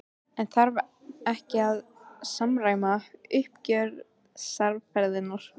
En þarf þá ekki að samræma uppgjörsaðferðirnar?